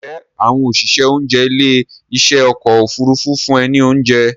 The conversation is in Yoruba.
Ǹjẹ́ àwọn òṣìṣẹ́ oúnjẹ ilé ìṣe ọkọ̀ Òfurufú fún ẹ ní oúnjẹ?